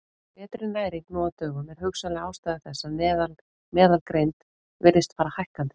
Betri næring nú á dögum er hugsanleg ástæða þess að meðalgreind virðist fara hækkandi.